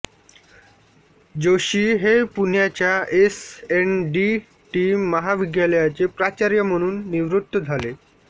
जोशी हे पुण्याच्या S N D T महाविद्यालयाचे प्राचार्य म्हणून निवृत्त झाले